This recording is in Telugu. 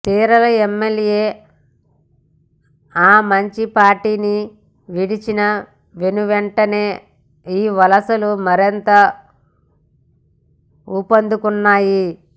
చీరాల ఎమ్మెల్యే ఆమంచి పార్టీని వీడిన వెనువెంటనే ఈ వలసలు మరింత ఊపందుకున్నాయి